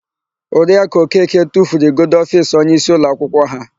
Oriakụ Okeke tufuru igodo ofiisi onyeisi ụlọakwụkwọ ha.